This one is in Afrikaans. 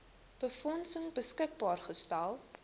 befondsing beskikbaar gestel